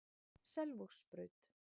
Selvogsbraut